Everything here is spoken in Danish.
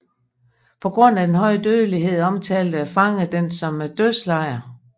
På grund af den høje dødelighed omtalte fangerne den som en dødslejr